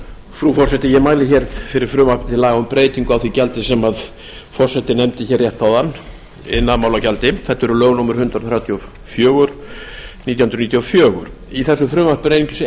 frú forseti ég mæli hér fyrir frumvarpi til laga um breytingu á því gjaldi sem forseti nefndi hér rétt áðan iðnaðarmálagjaldi þetta eru lög númer hundrað þrjátíu og fjögur nítján hundruð níutíu og fjögur í þessu frumvarpi er einungis